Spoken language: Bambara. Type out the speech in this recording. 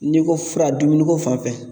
N'i ko fura dumuni ko fan fɛ